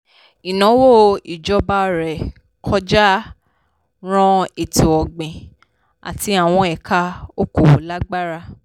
ìnáwó ìjọba ré kọjá ran ètò-ọ̀gbìn àti àwọn ẹ̀ka òkòòwò lágbára.